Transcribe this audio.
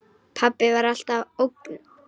Pabbi var alltaf ógn.